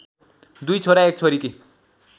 २ छोरा १ छोरीकी